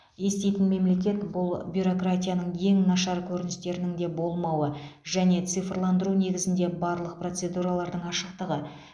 еститін мемлекет бұл бюрократияның ең нашар көріністерінің де болмауы және цифрландыру негізінде барлық процедуралардың ашықтығы